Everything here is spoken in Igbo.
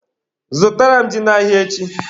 Zụta ji n'ahịa echi!